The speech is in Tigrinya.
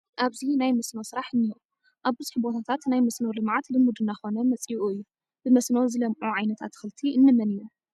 ኣብዚ ናይ መስኖ ስራሕ እኒሆ፡፡ ኣብ ብዙሕ ቦታታት ናይ መስኖ ልምዓት ልሙድ እናኾነ መፂኡ እዩ፡፡ ብመስኖ ዝለምዑ ዓይነት ኣትክልቲ እንመን እዮም?